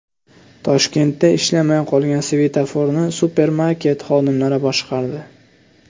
Toshkentda ishlamay qolgan svetoforni supermarket xodimlari boshqardi.